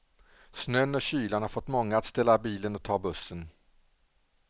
Snön och kylan har fått många att ställa bilen och ta bussen.